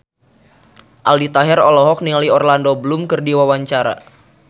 Aldi Taher olohok ningali Orlando Bloom keur diwawancara